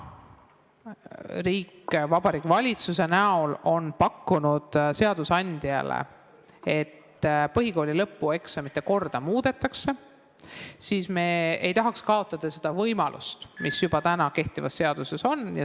Riik Vabariigi Valitsuse näol on pakkunud seadusandjale, et põhikooli lõpueksamite korda muudetaks, aga me ei tahaks kaotada seda võimalust, mis juba kehtivas seaduses on.